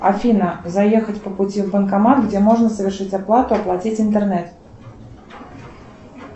афина заехать по пути в банкомат где можно совершить оплату оплатить интернет